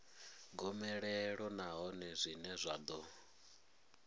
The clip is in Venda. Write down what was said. gomelelo nahone zwine zwa ḓo